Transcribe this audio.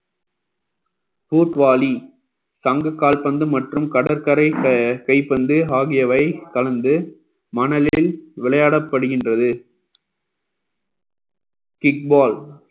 துத்வாலி சங்க கால்பந்து மற்றும் கடற்கரை க~ கைப்பந்து ஆகியவை கலந்து மணலில் விளையாடப்படுகின்றது kick ball